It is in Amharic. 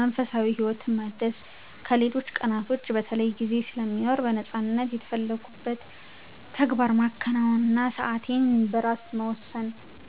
መንፈሳዊ ህይወትን ማደስ ከሌሎች ቀናቶች በተለይ ጊዜ ስለሚኖር በነፃነት የፈለኩትን ተግባር ማከናወን እና ሰአቴን በራሴ መወሰን።